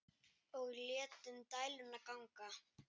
Og létum dæluna ganga.